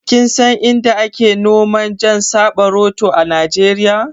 Kinsan Inda ake noma jan saɓaroto a Nijeriya?